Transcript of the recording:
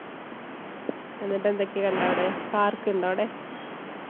എന്നിട്ട് എന്തൊക്കെ കണ്ടേ അവിടെ? park ണ്ടോ അവിടെ?